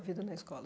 Vida na escola?